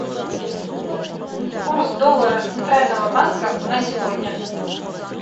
курс доллара центрального банка на сегодня